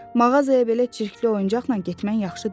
Mağazaya belə çirkli oyuncaqla getmən yaxşı deyil.